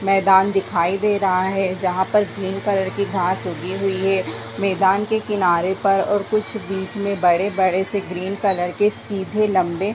मैदान दिखाई दे रहा है जहाँ पर विभिन्न कलर की घास उगी हुई है मैदान के किनारे पर और कुछ बीच में बड़े - बड़े से ग्रीन कलर के सीधे लम्बे --